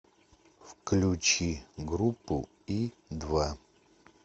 включи группу и два